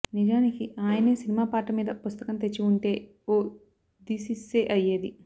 నిజానికి ఆయనే సినిమా పాట మీద పుస్తకం తెచ్చి ఉంటే ఓ థీసిస్సే అయ్యేది